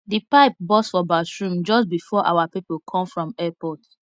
the pipe burst for bathroom just before our people come from airport